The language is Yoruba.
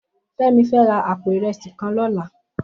Femi fè rà àpó irèsí kàn lòlá